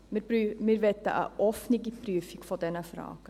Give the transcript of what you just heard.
» Wir möchten eine offene Prüfung dieser Fragen.